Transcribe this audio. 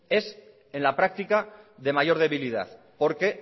es en la práctica de mayor debilidad porque